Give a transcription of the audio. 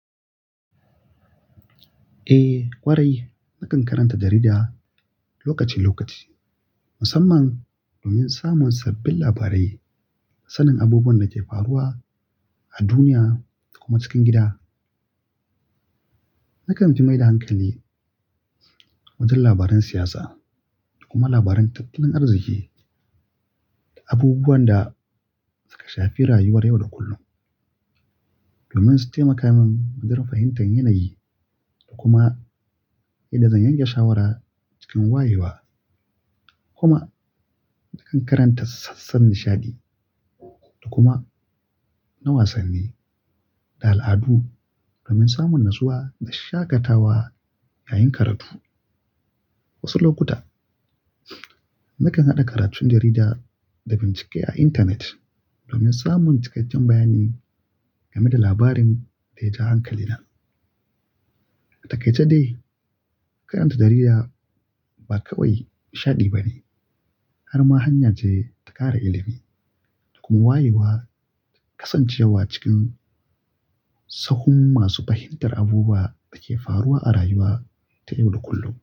Eh ƙwarai nakan karanta jarida lokaci-lokaci musamman domin samun sabbin labarai da sanin abubuwan da ke faruwa a duniya da kuma cikin gida. Nakan fi mai da hankali wajen labaran siyasa da kuma labaran tattalin arziki da abubuwan da suka shafi rayuwar yau da kullum domin su taimaka min madarar fahimtar yanayi da kuma yadda zan yanke shawara cikin wayewa. Kuma nakan karanta sassan nishaɗi da kuma na wasanni da al'adu domin samun natsuwa da shakatawa yayin karatu. Wasu lokuta nakan haɗa karatun jarida da bincike a intanet domin samun cikakken bayani game da labarin da ya ja hankalina. Atakai ce dai karanta jarida ba kawai nishaɗi bane har ma hanya ce ta ƙara ilimi da kuma wayewa da kasancewa cikin sahun masu fahimtar abubuwan da ke faruwa a rayuwa ta yau da kullum.